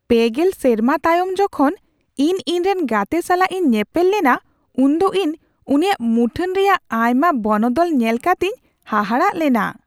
᱓᱐ ᱥᱮᱨᱢᱟ ᱛᱟᱭᱚᱢ ᱡᱚᱠᱷᱚᱱ ᱤᱧ ᱤᱧᱨᱮᱱ ᱜᱟᱛᱮ ᱥᱟᱞᱟᱜ ᱤᱧ ᱧᱮᱯᱮᱞ ᱞᱮᱱᱟ ᱩᱱ ᱫᱚ ᱤᱧ ᱩᱱᱤᱭᱟᱜ ᱢᱩᱴᱷᱟᱹᱱ ᱨᱮᱭᱟᱜ ᱟᱭᱢᱟ ᱵᱚᱱᱚᱫᱚᱞ ᱧᱮᱞ ᱠᱟᱛᱤᱧ ᱦᱟᱦᱟᱲᱟᱜ ᱞᱮᱱᱟ ᱾